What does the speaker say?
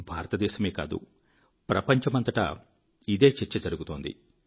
భారతదేశమే కాదు ప్రపంచమంతటా ఇదే చర్చ జరుగుతోంది